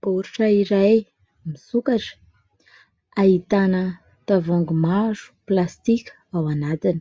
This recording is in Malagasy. Baoritra iray misokatra. Ahitana tavoahangy maro plastika ao anatiny,